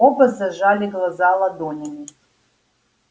оба зажали глаза ладонями